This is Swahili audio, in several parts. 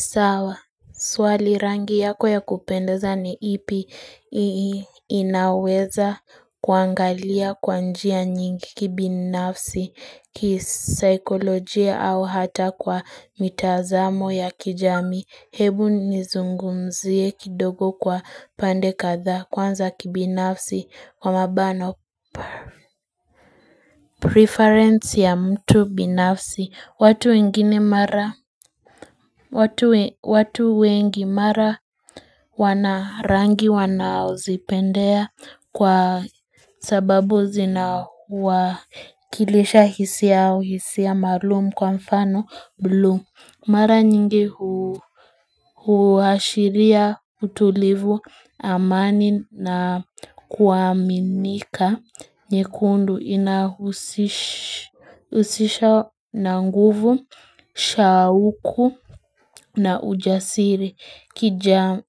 Sawa, swali rangi yako ya kupendeza ni ipi inaweza kuangalia kwa njia nyingi kibinafsi, kisaikolojia au hata kwa mitazamo ya kijamii, hebu nizungumzie kidogo kwa pande kadha kwanza kibinafsi kwa mabano. Preference ya mtu binafsi watu wengine mara watu wengi mara wanarangi wanaozipendea kwa sababu zinawakilisha hisi yao hisia maalum kwa mfano blue mara nyingi huashiria utulivu amani na kuaminika nyekundu inahusisha na nguvu, shauku na ujasiri.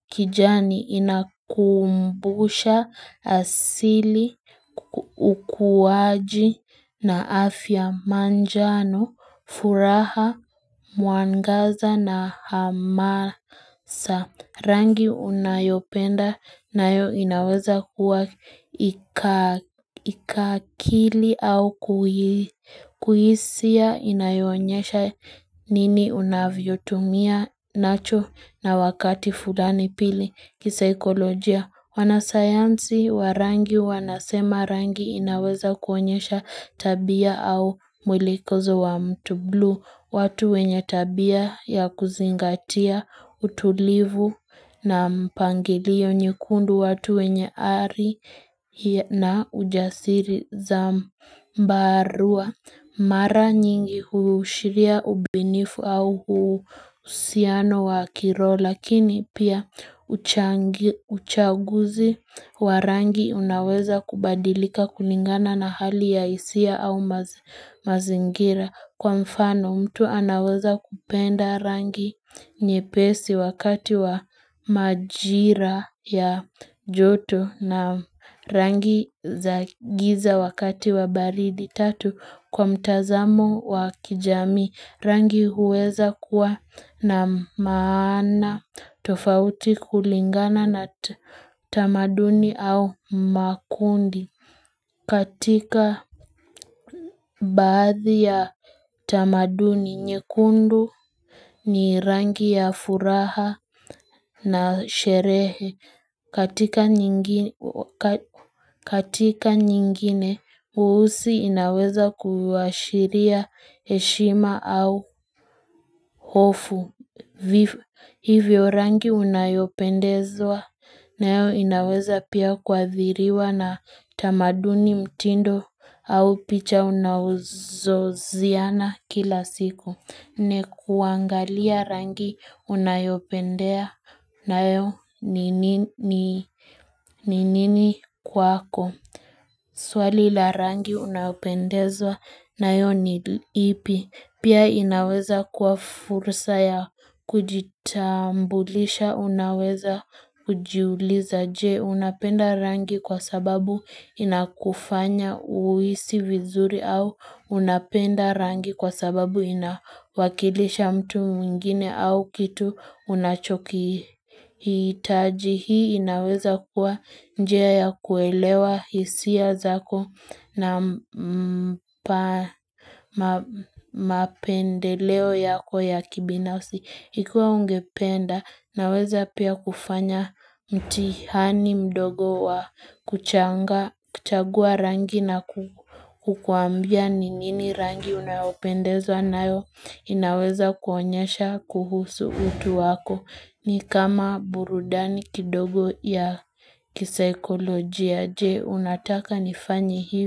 Kijani inakumbusha asili, ukuwaji na afya manjano, furaha, mwangaza na hamasa. Rangi unayopenda nayo inaweza kuwa ikakili au kuhisia inayoonyesha nini unavyotumia nacho na wakati fulani pili kisaikolojia. Wanasayansi wa rangi wanasema rangi inaweza kuonyesha tabia au mwelekezo wa mtu blue, watu wenye tabia ya kuzingatia utulivu na mpangilio nyekundu watu wenye ari na ujasiri zambarua. Mara nyingi huushiria ubinifu au uhusiano wa kiroho lakini pia uchaguzi wa rangi unaweza kubadilika kulingana na hali ya hisia au mazingira. Kwa mfano mtu anaweza kupenda rangi nyepesi wakati wa majira ya joto na rangi za giza wakati wa baridi tatu kwa mtazamo wa kijamii rangi huweza kuwa na maana tofauti kulingana na tamaduni au makundi. Katika baadhi ya tamaduni, nyekundu ni rangi ya furaha na sherehe katika katika nyingine, weusi inaweza kuashiria heshima au hofu. Hivyo rangi unayopendezwa nayo inaweza pia kuadhiriwa na tamaduni mtindo au picha unazoziona kila siku. Nne, kuangalia rangi unayopendea nayo ni nini kwako Swali la rangi unayopendezwa nayo ni ipi Pia inaweza kuwa fursa ya kujitambulisha Unaweza kujiuliza je Unapenda rangi kwa sababu inakufanya uhisi vizuri au Unapenda rangi kwa sababu inawakilisha mtu mwingine au kitu unachokihitaji hii inaweza kuwa njia ya kuelewa hisia zako na mapendeleo yako ya kibinafsi. Ikiwa ungependa naweza pia kufanya mtihani mdogo wa kuchagua rangi na kukuambia ni nini rangi unayopendezwa nayo inaweza kuonyesha kuhusu utu wako ni kama burudani kidogo ya kisaikolojia, je? Unataka nifanyi hivyo.